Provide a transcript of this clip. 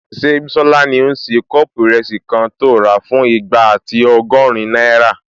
Ṣé Bísọ́lá ní o n ṣe kọ́ọ̀pù ìrẹsì kan tó rà fún igba ati ọgọ́rin náírà?